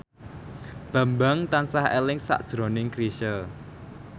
Bambang tansah eling sakjroning Chrisye